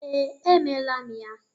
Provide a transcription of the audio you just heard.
Ee, emela m ya.